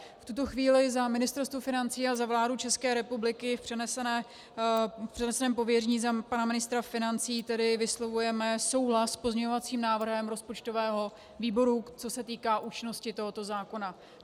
V tuto chvíli za Ministerstvo financí a za vládu České republiky v přeneseném pověření za pana ministra financí tedy vyslovujeme souhlas s pozměňovacím návrhem rozpočtového výboru, co se týká účinnosti tohoto zákona.